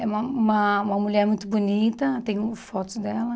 É uma uma uma mulher muito bonita, tenho fotos dela.